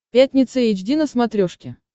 пятница эйч ди на смотрешке